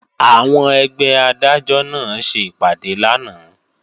Àwọn ẹgbẹ́ Adájọ́ náà ṣe ìpàdé lánàá